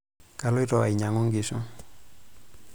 Kaloiti ainyang'u nkishu.